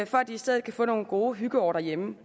for at de i stedet kan få nogle gode hyggeår derhjemme